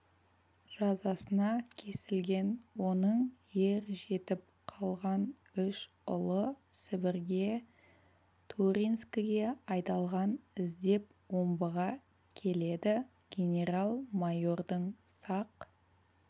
жазасына кесілген оның ер жетіп қалған үш ұлы сібірге туринскіге айдалған іздеп омбыға келеді генерал-майордың сақ